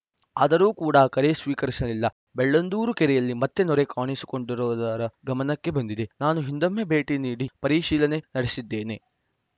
ಆದರೂ ಕೂಡ ಕರೆ ಸ್ವೀಕರಿಸಲಿಲ್ಲ ಬೆಳ್ಳಂದೂರು ಕೆರೆಯಲ್ಲಿ ಮತ್ತೆ ನೊರೆ ಕಾಣಿಸಿಕೊಂಡಿರುವುದು ಗಮನಕ್ಕೆ ಬಂದಿದೆ ನಾನೂ ಹಿಂದೊಮ್ಮೆ ಭೇಟಿ ನೀಡಿ ಪರಿಶೀಲನೆ ನಡೆಸಿದ್ದೇನೆ